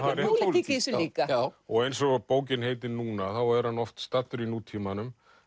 pólitík í þessu líka og eins og bókin heitir núna þá er hann oft staddur í nútímanum